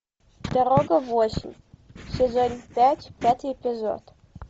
дорога в осень сезон пять пятый эпизод